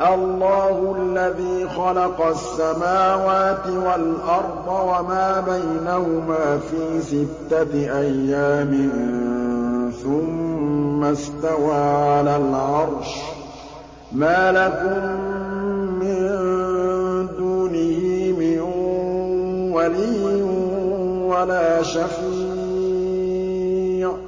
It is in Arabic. اللَّهُ الَّذِي خَلَقَ السَّمَاوَاتِ وَالْأَرْضَ وَمَا بَيْنَهُمَا فِي سِتَّةِ أَيَّامٍ ثُمَّ اسْتَوَىٰ عَلَى الْعَرْشِ ۖ مَا لَكُم مِّن دُونِهِ مِن وَلِيٍّ وَلَا شَفِيعٍ ۚ